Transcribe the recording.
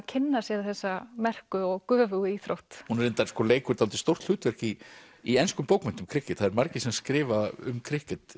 kynna sér þessa merku og göfugu íþrótt hún reyndar leikur dálítið stórt hlutverk í í enskum bókmenntum það eru margir sem skrifa um